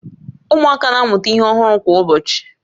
Ụmụaka na-amụta ihe ọhụrụ kwa ụbọchị